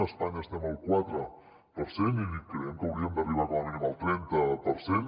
a espanya estem al quatre per cent i creiem que hauríem d’arribar com a mínim al trenta per cent